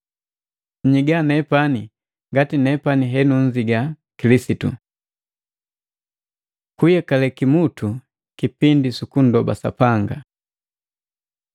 Nnyigisa nepani ngati nepani henunzigisa Kilisitu. Kuyekale kimutu kipindi sukunndoba Sapanga.